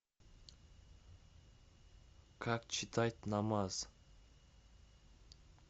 как читать намаз